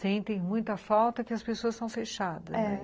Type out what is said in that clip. Sentem muita falta que as pessoas são fechadas, né? é.